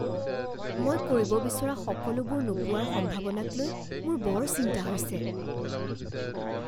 মই কৰিব বিচৰা সকলোবোৰ নোপাৱাৰ সম্ভাৱনাকলৈ মোৰ বৰ চিন্তা হৈছে।